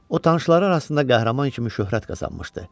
O tanışları arasında qəhrəman kimi şöhrət qazanmışdı.